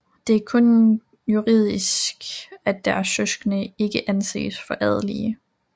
Det er kun juridisk at deres søskende ikke anses for adelige